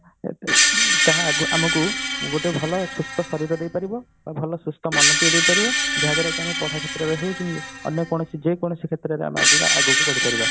ତାହା ଆମକୁ ଗୋଟେ ଭଲ ସୁସ୍ଥ ଶରୀର ଦେଇ ପାରିବ ଆଉ ଭଲ ସୁସ୍ଥ ମନ ଟିଏ ଦେଇପାରିବ ଯାହା ଦ୍ଵାରା କି ଆମ ପଢା କ୍ଷେତ୍ରରେ ହଉ କି ଅନ୍ୟ କୌଣସି ଯେକୌଣସି କ୍ଷେତ୍ରରେ ଆମେ ଆଗକୁ ବଢିପାରିବା